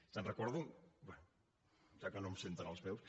se’n recorden bé ja que no em senten els meus